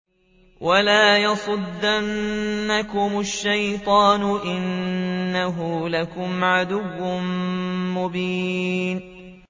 وَلَا يَصُدَّنَّكُمُ الشَّيْطَانُ ۖ إِنَّهُ لَكُمْ عَدُوٌّ مُّبِينٌ